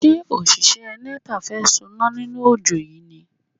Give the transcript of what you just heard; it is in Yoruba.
Ṣé òṣìṣẹ́ Nepa fẹ́ soná nínú ojó yìí ni?